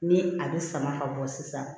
Ni a bɛ sama ka bɔ sisan